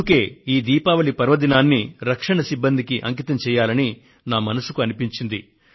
అందుకే ఈ దీపావళి పర్వదినాన్ని రక్షణ సిబ్బందికి అంకితం చేయాలని నా మనస్సుకు అనిపించింది